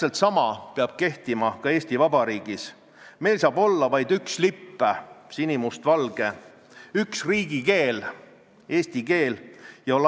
Keeleinspektsiooni peadirektor Ilmar Tomusk rääkis, et tavaliselt jääb füüsilistele isikutele kohaldatud sunniraha 30 ja 50 euro kanti, ja ta kinnitas, et füüsilise isiku puhul võiks sunniraha määr jääda selliseks, nagu see praegu on.